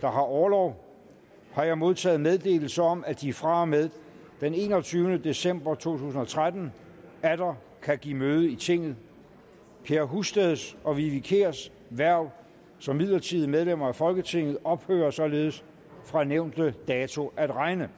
der har orlov har jeg modtaget meddelelse om at de fra og med den enogtyvende december to tusind og tretten atter kan give møde i tinget per husteds og vivi kiers hverv som midlertidige medlemmer af folketinget ophører således fra nævnte dato at regne